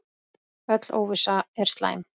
Öll óvissa er slæm.